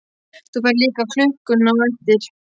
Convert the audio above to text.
Þú færð líka klukkuna á eftir.